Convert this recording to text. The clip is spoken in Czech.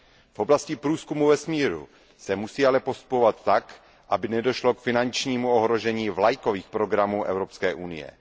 V oblasti průzkumu vesmíru se musí ale postupovat tak, aby nedošlo k finančnímu ohrožení vlajkových programů Evropské unie.